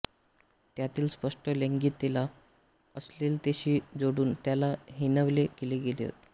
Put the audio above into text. त्यातील स्पष्ट लैंगिकतेला अश्लीलतेशी जोडून त्याला हिणवले गेले होते